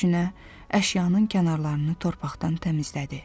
Düşünə-düşünə əşyanın kənarlarını torpaqdan təmizlədi.